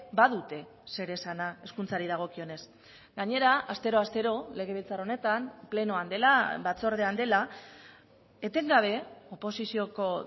badute zer esana hezkuntzari dagokionez gainera astero astero legebiltzar honetan plenoan dela batzordean dela etengabe oposizioko